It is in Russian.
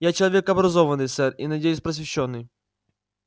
я человек образованный сэр и надеюсь просвещённый